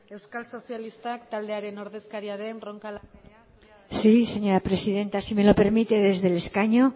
euskal sozialistak taldearen ordezkaria den roncal andereak dauka hitza sí señora presidenta si me lo permite desde el escaño